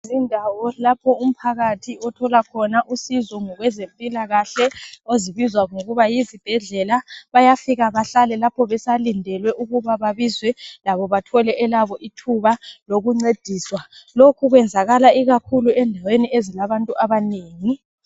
Izindawo lapho umphakathi othola khona usizo ngowezempilakahle ezibizwa ngokuthi yizibhedlela. Bayafika bahlale balinde ukuba bathole ithuba labo babizwe, lokhu kwenziwan endaweni ezilabantu abanengi.